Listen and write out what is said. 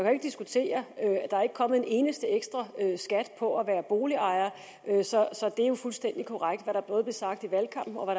jo ikke diskutere at der ikke er kommet en eneste ekstraskat på at være boligejer så det er jo fuldstændig korrekt både hvad der blev sagt i valgkampen og